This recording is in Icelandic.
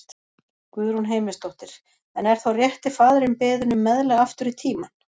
Guðrún Heimisdóttir: En er þá rétti faðirinn beðinn um meðlag aftur í tímann?